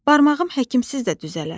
Barmağım həkimsiz də düzələr.